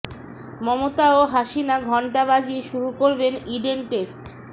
মমতা ও হাসিনা ঘণ্টা বাজিয়ে শুরু করবেন ইডেন টেস্ট